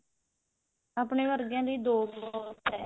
ਆਪਣੇ ਵਰਗਿਆਂ ਲਈ ਦੋ ਬਹੁਤ ਹੈ